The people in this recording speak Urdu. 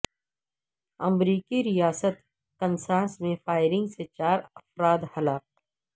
امریکی ریاست کنساس میں فائرنگ سے چار افراد ہلاک